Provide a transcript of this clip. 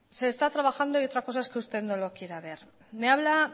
se está trabajando y otra cosa es que usted no lo quiera ver me habla